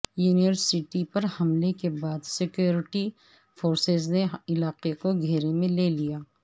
university پر حملے کے بعد سکیورٹی فورسز نے علاقے کو گھیرے میں لے لیا